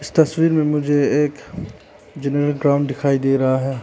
तस्वीर में मुझे एक जनरल ग्राउंड दिखाई दे रहा है।